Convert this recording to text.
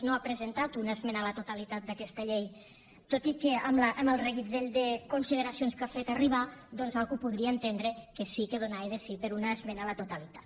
no hagi presentat una esmena a la totalitat d’aquesta llei tot i que amb el reguitzell de consideracions que ha fet arribar algú podria entendre que sí que donava de si per a una esmena a la totalitat